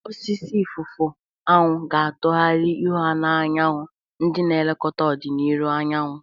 Osisi ifufu anwu ga-atụgharị ihu ha na anyanwụ, ndị na-elekọta ọdịnihu anyanwụ.